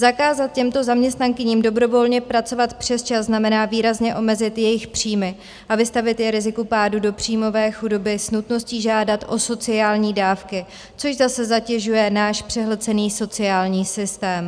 Zakázat těmto zaměstnankyním dobrovolně pracovat přesčas znamená výrazně omezit jejich příjmy a vystavit je riziku pádu do příjmové chudoby s nutností žádat o sociální dávky, což zase zatěžuje náš přehlcený sociální systém.